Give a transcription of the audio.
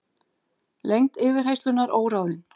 Lengd yfirheyrslunnar óráðin